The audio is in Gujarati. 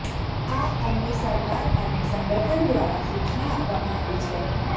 આ અંગે સરકાર અને સંગઠન દ્વારા સૂચના આપવામાં આવી છે